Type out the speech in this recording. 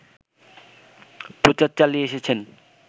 প্রচার চালিয়ে এসেছেন